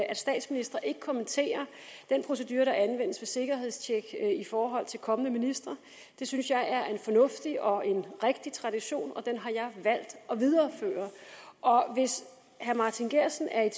at statsministre ikke kommenterer den procedure der anvendes ved sikkerhedstjek af kommende ministre det synes jeg er en fornuftig og rigtig tradition og den har jeg valgt at videreføre hvis herre martin geertsen er i